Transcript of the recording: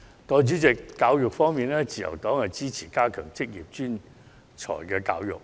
代理主席，在教育方面，自由黨支持加強職業專才教育。